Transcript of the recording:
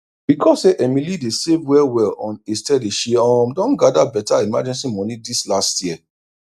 becos say emily dey save well well on a steady she um don gada beta emergency moni dis last year